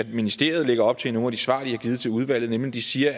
ministeriet lægger op til i nogle af de svar de har givet til udvalget de siger